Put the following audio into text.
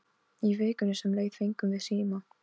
Í vikunni sem leið fengum við síma.